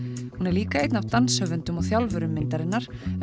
líka einn af danshöfundum og þjálfurum myndarinnar